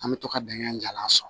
An bɛ to ka bɛnkan in jalan sɔn